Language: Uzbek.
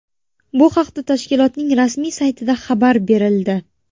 Bu haqda tashkilotning rasmiy saytida xabar berildi .